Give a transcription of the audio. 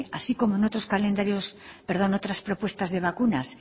así como en otras propuestas de vacunas